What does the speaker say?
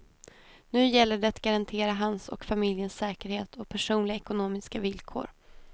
Nu gäller det att garantera hans och familjens säkerhet och personliga ekonomiska villkor.